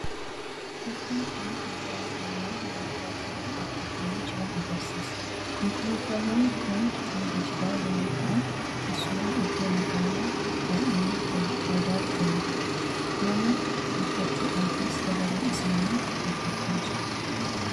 fakkiin konkolaataawwan walduraa duubaa dhaabbatanii jiran agarsiisa. konkolaataawwan kun kan geejibaa yeroo ta’an keessumaa iddoo magaalaa baa'inaan faayidarra olu. nama gutachuudhaafis dabaree isaanii eeggachaa jiru.